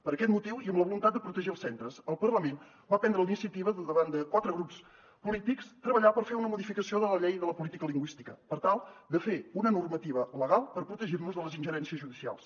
per aquest motiu i amb la voluntat de protegir els centres el parlament va prendre la iniciativa davant de quatre grups polítics de treballar per fer una modificació de la llei de la política lingüística per tal de fer una normativa legal per protegir nos de les ingerències judicials